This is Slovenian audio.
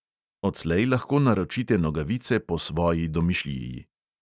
Odslej lahko naročite nogavice po svoji domišljiji.